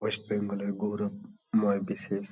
West Bengal -এর গৌরব ময় বিশেষ --